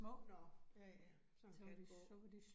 Nåh ja ja, sådan kan det gå